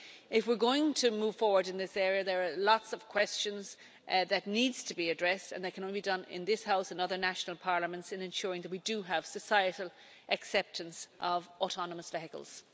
If we're going to move forward in this area, there are lots of questions that need to be addressed, and that can only be done in this House and other national parliaments in ensuring that we do have societal acceptance of autonomous vehicles.